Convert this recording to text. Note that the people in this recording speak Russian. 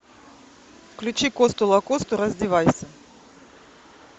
включи косту лакосту раздевайся